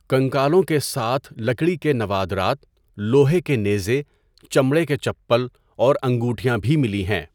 کنکالوں کے ساتھ لکڑی کے نوادرات، لوہے کے نیزے، چمڑے کے چپل اور انگوٹھیاں بھی ملی ہیں۔